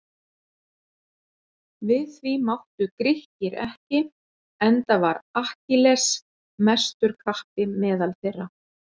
Við því máttu Grikkir ekki enda var Akkilles mestur kappi meðal þeirra.